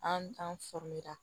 An t'an sɔrɔ yen nɔ